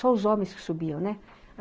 Só os homens que subiam, né?